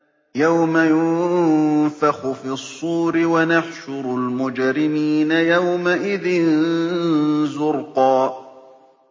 يَوْمَ يُنفَخُ فِي الصُّورِ ۚ وَنَحْشُرُ الْمُجْرِمِينَ يَوْمَئِذٍ زُرْقًا